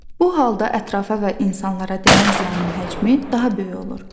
Bu halda ətrafa və insanlara dəyən ziyanın həcmi daha böyük olur.